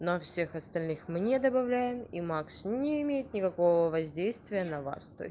ну всех остальных мне добавляем и макс не имеет никакого воздействия на вас